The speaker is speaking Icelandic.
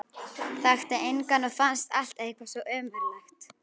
Þekkti engan og fannst allt eitthvað svo ömurlegt.